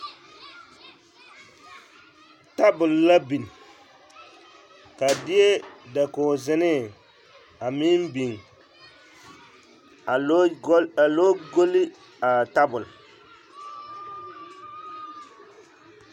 Tabol la biŋ, ba deɛ dakogi zenee a meŋ biŋ a lɔɔ goli a tabol.